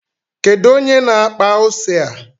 Kedu onye na-akpa ose a?